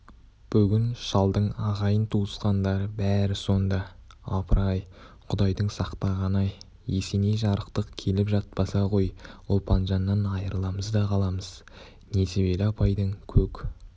бүгін шалдың ағайын-туысқандары бәрі сонда апыр-ай құдайдың сақтағаны-ай есеней жарықтық келіп жатпаса ғой ұлпанжаннан айрыламыз да қаламыз несібелі апайдың көк